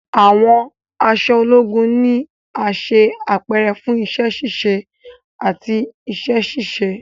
Awọn aṣọ ologun ni a ṣe apẹrẹ fun iṣẹ-ṣiṣe ati iṣẹ-ṣiṣe